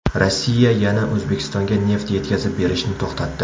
Rossiya yana O‘zbekistonga neft yetkazib berishni to‘xtatdi.